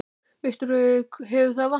Viktoría: Hefur það vantað?